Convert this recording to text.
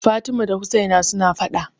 Fatima da Usaina suna faɗa.